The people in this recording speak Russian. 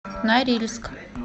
норильск